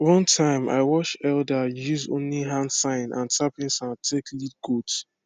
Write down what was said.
one time i watch elder use only hand sign and tapping sound take lead goats